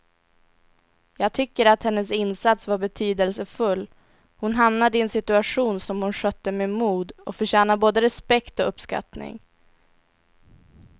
Jag tycker att hennes insats var betydelsefull, hon hamnade i en situation som hon skötte med mod och förtjänar både respekt och uppskattning.